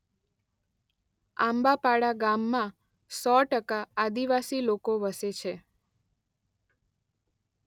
આંબાપાડા ગામમાં સો ટકા આદિવાસી લોકો વસે છે.